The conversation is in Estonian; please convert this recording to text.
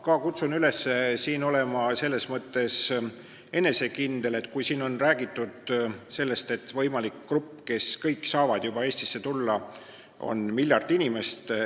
Ma kutsun teid üles selles mõttes rahulik olema – siin on ju räägitud, et võimalik grupp, kes nüüd kohe saab Eestisse tulla, on miljard inimest.